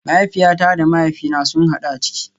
Mahaifiyata da mahaifina sun hadu a ciki